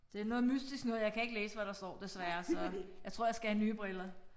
Det noget mystisk noget jeg kan ikke læse hvad der står desværre så. Jeg tror jeg skal have nye briller